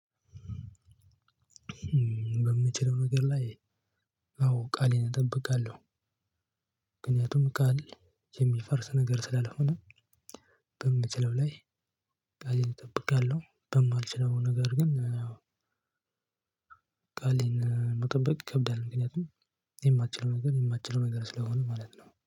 በምችለው ነገር ላይ አዎ ቃሌን ጠብቃለው። ምክንያቱም ቃል የሚፈርስ ነገር ስላልሆነ በምችለው ላይ ቃሌን እጠብቃለሁ። በማልችለው ነገር ግን። ቃሌን መጠበቅ ይከብዳል ምክንያቱም የማትችለው ነገር የማትችለው ነገር ስለሆነ ማለት ነው